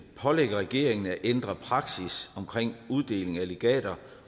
pålægge regeringen at ændre praksis omkring uddeling af legater